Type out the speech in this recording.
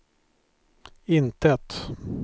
intet